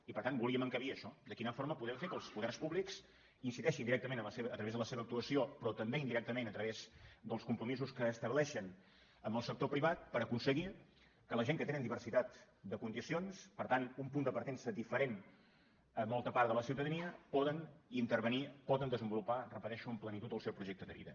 i per tant volíem encabir això de quina forma podem fer que els poders públics incideixin directament a través de la seva actuació però també indirectament a través dels compromisos que estableixen amb el sector privat per aconseguir que la gent que tenen diversitat de condicions per tant un punt de partença diferent a molta part de la ciutadania poden intervenir poden desenvolupar ho repeteixo amb plenitud el seu projecte de vida